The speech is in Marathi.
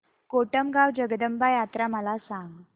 कोटमगाव जगदंबा यात्रा मला सांग